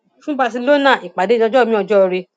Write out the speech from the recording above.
fún barcelona ìpàdé di ọjọ miin ọjọ ire